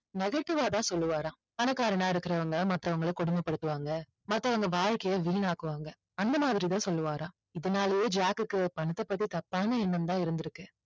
negative ஆ தான் சொல்லுவாராம் பணக்காரனா இருக்குறவங்க மத்தவங்கள கொடுமைப்படுத்துவாங்க மத்தவங்க வாழ்க்கைய வீணாக்குவாங்க அந்த மாதிரி தான் சொல்லுவாராம் இதனாலேயே ஜாக்குக்கு பணத்தை பத்தி தப்பான எண்ணம் தான் இருந்திருக்கு